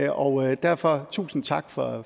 og derfor tusind tak for